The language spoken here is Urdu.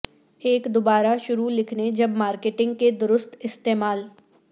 ایک دوبارہ شروع لکھنے جب مارکیٹنگ کے درست استعمال